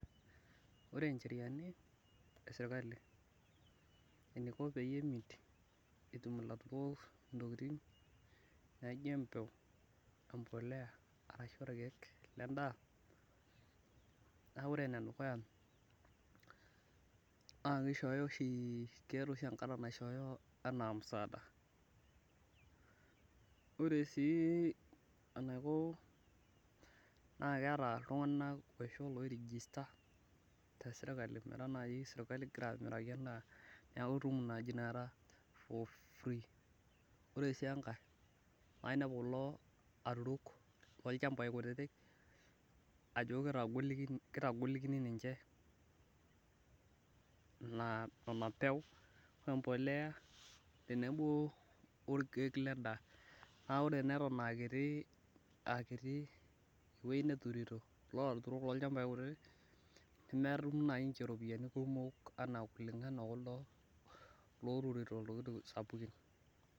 Ore ncherianj esirkali, eniko peyie emit, ilaturok intokitin idaikin, naijo empuliya arashu n Irkeek le daa. naa ore ene dukuya kishooyo oshi, keeta oshi enkata naishoyo anaa musaada. Ore sii enaiko naa keeta iltunganak ojrigista te sirkali metaa sirkali naa keeku itum naaji Ina kata for free ore sii enkae naa inepu naaji kulo aturok lolchampai kutitik, ajo kitagolikini ninche Nena peu, empuliya tenebo orkeek ledaa naa ore naa eton aa kiti ewueji neturiti ilaturok lolchampai, nemetum naaji niche ropiyiani kumok anaa kulingana okulo loturito sapukin.